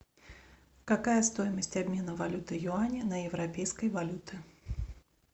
какая стоимость обмена валюты юаня на европейские валюты